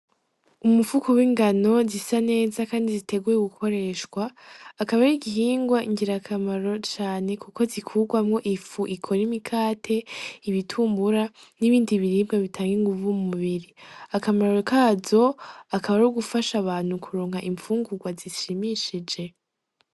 Umufuko w'ingano zisa neza kandi ziteguwe gukoresha akaba ari igihingwa ngirakamaro cane kuko zikurwamwo ifu ikora imikate, ibitumbura n'ibindi biribwa bitanga inguvu mu mubiri, akamaro kazo akaba ari ugufasha abantu kuronka infungurwa zishimishije.